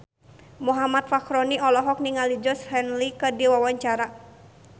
Muhammad Fachroni olohok ningali Georgie Henley keur diwawancara